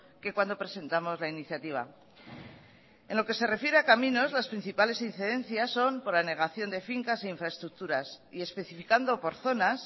que cuando presentamos la iniciativa en lo que se refiere a caminos las principales incidencias son por anegación de fincas y infraestructuras y especificando por zonas